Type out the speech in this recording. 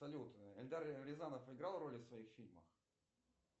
салют эльдар рязанов играл роли в своих фильмах